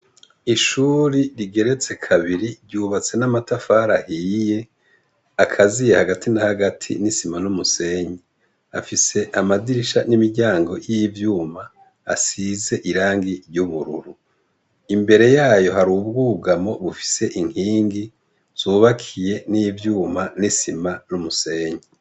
Ishure rigeretse kabiri ryubatse namatafari ahiye ,akaziye Hagati na Hagati nisima numusenyi, afise amadirisha nimiryango yivyuma asize Irangi ryubururu, imbere yayo hari ubwugamo bufise inkingi zubakiye nivyuma nisima numusenyi.